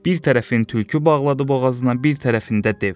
Bir tərəfin tülkü bağladı boğazına, bir tərəfində dev.